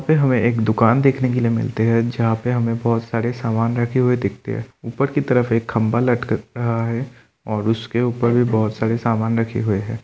पे हमें एक दुकान देखने के लिए मिलते हैं जहाँ पे हमें बहुत सारे सामान रखे हुए दिखते है। ऊपर की तरफ एक खंभा लटक रहा है और उसके ऊपर भी बहोत सारे सामान रखे हुए है।